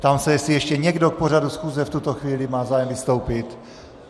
Ptám se, jestli ještě někdo k pořadu schůze v tuto chvíli má zájem vystoupit.